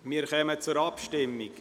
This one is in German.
Wir kommen zur Abstimmung.